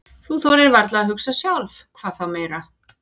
Þú þorir varla að hugsa sjálf, hvað þá meira.